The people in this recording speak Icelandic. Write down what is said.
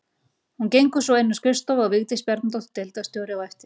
Hún gengur svo inn á skrifstofu og Vigdís Bjarnadóttir deildarstjóri á eftir.